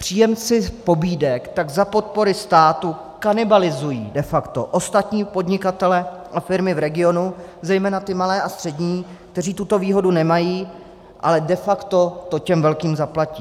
Příjemci pobídek tak za podpory státu kanibalizují de facto ostatní podnikatele a firmy v regionu, zejména ty malé a střední, kteří tuto výhodu nemají, ale de facto to těm velkým zaplatí.